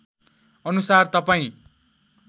अनुसार तपाईँ